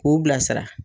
K'u bila sira